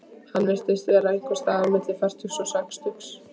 Hann virtist vera einhvers staðar milli fertugs og sextugs.